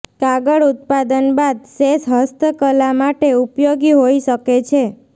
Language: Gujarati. કાગળ ઉત્પાદન બાદ શેષ હસ્તકલા માટે ઉપયોગી હોઈ શકે છે